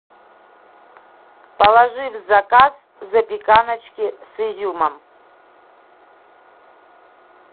положи в заказ запеканочки с изюмом